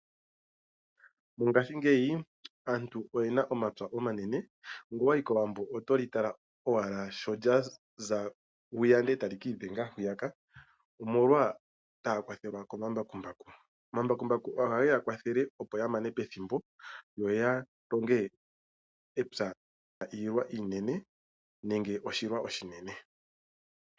Mongashingeyi aantu oye na omapya omanene. Ngele owa yi kowambo oto li tala owala sho lya za hwiya eta li kiidhenga hwiyaka omolwa sho taya kwathelwa komambakumbaku. Omambakumbaku ohage ya kwathele opo ya mane pethimbo yo longe epya li na iilwa nenge oshilwa oshinene.